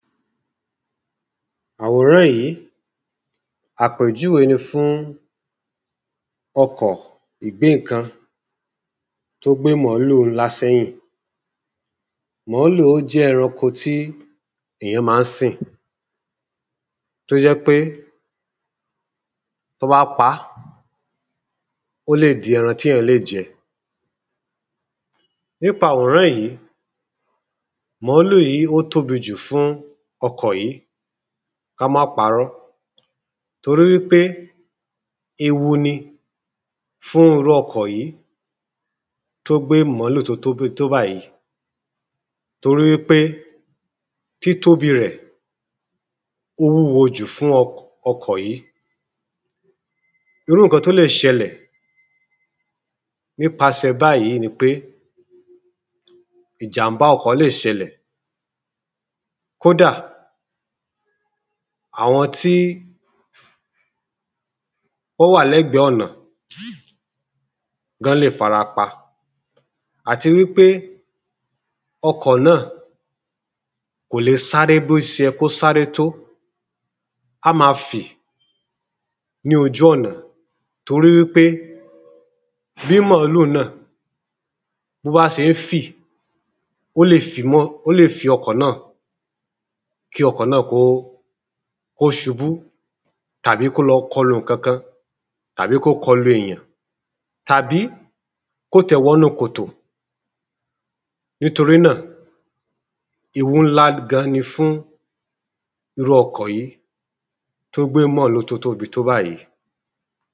àwòrán yìí àpèjúwe ni fun ọkọ̀ ìgbéǹkan tó gbé màálù ńlá sẹ́yìn màálù jẹ́ ẹranko tí èyàn ma ń sìn tó jẹ́ pé tí wọ́n bá pa á ó lè di ẹran tí èyàn lè jẹ nípa àwòrán yìí, màálù yìí tóbi jù fún ọkọ̀ yí ká má parọ́ torí wípé ewu ni fún irú ọkọ̀ yìí tó gbé màálù tó tóbi tó báyìí nítorí wípé títóbi rẹ̀ ó wúwo jù fún ọkọ̀ yìí, irú ǹkan tó lè ṣẹlẹ̀ nipasẹ báyìí ni pé ìjàm̀bá ọkọ̀ lè ṣẹlẹ̀ kódà àwọn tí wọ́n wà ní lẹ́gbẹ ọ̀nà náà lè farapa, àti wípé ọkọ̀ náà kò lè sáré bó ṣe yẹ kó sáre tó á máa fì ní ojú ọ̀nà torí wípé bí màálù náà tó bá ṣe ń fì ó lè fi ọkọ̀ náà kí ọkọ̀ náà kó ṣubú tàbí kó kọlu ǹkan kan tàbí kó kọlu èyàn tàbí kó tiẹ̀ wọnú kòtò nítorí náà ewu ńlá gan ni fún irú ọkọ̀ yìí tó gbé màálù tó tóbi tó báyìí